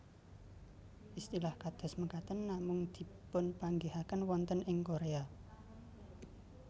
Istilah kados mekaten namung dipunpanggihaken wonten ing Korea